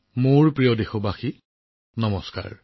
মোৰ প্ৰিয় দেশবাসী নমস্কাৰ